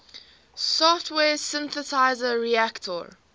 software synthesizer reaktor